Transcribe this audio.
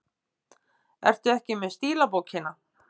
Ertu ekki með stílabókina?